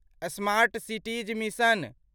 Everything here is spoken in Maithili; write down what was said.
smart cities mission